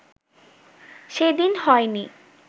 সেদিন হয় নি